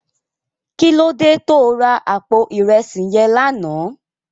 Kilódé tó rá àpó irèsí yèn làná?